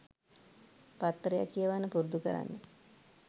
පත්තරයක් කියවන්න පුරුදු කරන්න